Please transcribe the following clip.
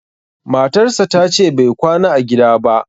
matarsa ta ce Bai kwana a gida ba